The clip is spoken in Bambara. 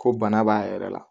Ko bana b'a yɛrɛ la